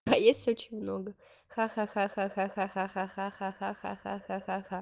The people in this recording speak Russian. а есть очень много ха-ха-ха-ха-ха-ха-ха-ха